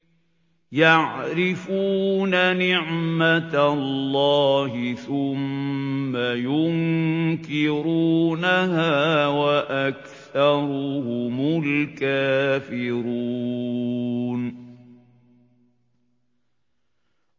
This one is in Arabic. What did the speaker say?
يَعْرِفُونَ نِعْمَتَ اللَّهِ ثُمَّ يُنكِرُونَهَا وَأَكْثَرُهُمُ الْكَافِرُونَ